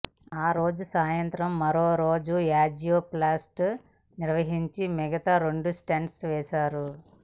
ఆ రోజు సాయంత్రం మరోమారు యాంజియోప్లాస్టీ నిర్వహించి మిగతా రెండు స్టంట్స్ వేశారు